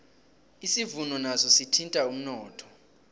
isivuno naso sithinta umnotho